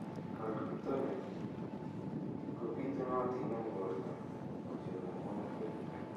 Calcitonnin kobitunotin eng' porto kochope mokwek.